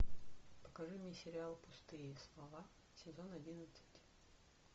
покажи мне сериал пустые слова сезон одиннадцать